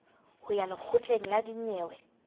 ho ya lekgotleng la dinyewe